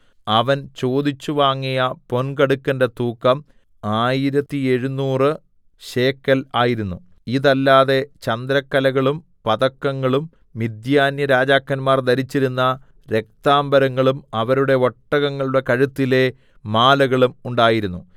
അവൻ ചോദിച്ചു വാങ്ങിയ പൊൻകടുക്കന്റെ തൂക്കം ആയിരത്തെഴുനൂറു ശേക്കെൽ ആയിരുന്നു ഇതല്ലാതെ ചന്ദ്രക്കലകളും പതക്കങ്ങളും മിദ്യാന്യരാജാക്കന്മാർ ധരിച്ചിരുന്ന രക്താംബരങ്ങളും അവരുടെ ഒട്ടകങ്ങളുടെ കഴുത്തിലെ മാലകളും ഉണ്ടായിരുന്നു